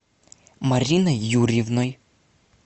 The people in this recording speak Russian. мариной юрьевной